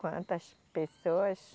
Quantas pessoas...